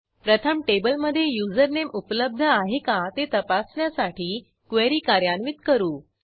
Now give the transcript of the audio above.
प्रथम टेबलमधे युजरनेम उपलब्ध आहे का ते तपासण्यासाठी क्वेरी कार्यान्वित करू